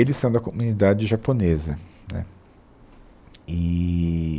Eles são da comunidade japonesa, né. Eee